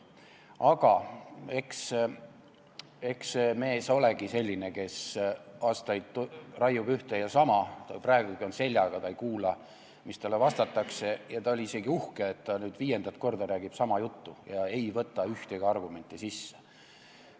Aga eks see mees olegi selline, kes aastaid raiub ühte ja sama, ta on praegugi seljaga, ta ei kuula, mis talle vastatakse, ja ta oli isegi uhke, et ta viiendat korda räägib sama juttu ja ei võta ühtegi argumenti arvesse.